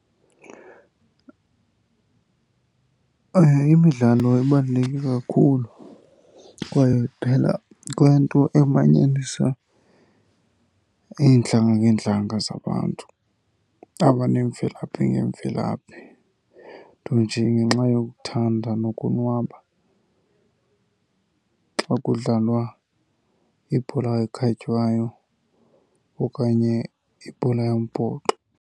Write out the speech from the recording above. Imidlalo ibaluleke kakhulu kwaye kuphela kwento emanyanisa iintlanga ngeentlanga zabantu abaneemvelaphi ngeemvelaphi, nto nje ngenxa yokuthanda nokonwaba xa kudlalwa ibhola ekhatywayo okanye ibhola yombhoxo.